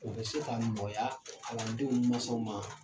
U bɛ se ka nɔgɔya kalandenw mansaw ma.